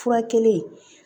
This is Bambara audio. Furakɛli